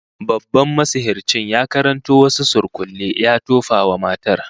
Babban masihircin ya karanto wasu surkulle ya tofa wa matar